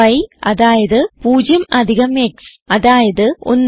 y അതായത് 0 അധികം x അതായത് 1